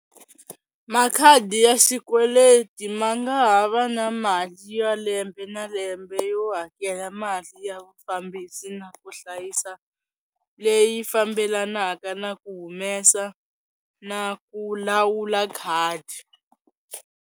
Makhadi ya xikweleti ma nga ha va na mali ya lembe na lembe yo hakela mali ya vufambisi na ku hlayisa leyi fambelanaka na ku humesa na ku lawula khadi.